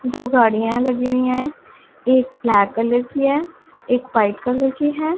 दो गाड़ियां लगी हुए है एक ब्लैक कलर की है एक वाइट कलर की है।